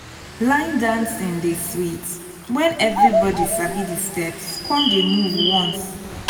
line dancing dey sweet wen everybody sabi the steps come dey move once.